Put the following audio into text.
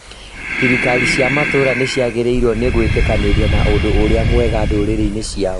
Thirikiari cia matũra nĩciagĩrĩrĩirwo nĩ gwĩtĩkanĩria na ũndũ ũrĩa mwega ndũrĩrĩ-inĩ ciao